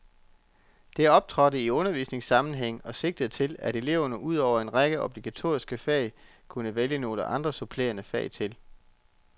Det optrådte i undervisningssammenhæng og sigtede til, at eleverne ud over en række obligatoriske fag kunne vælge nogle andre supplerende fag til.